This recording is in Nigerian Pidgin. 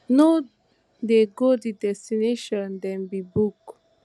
no dey go di destination dem bin book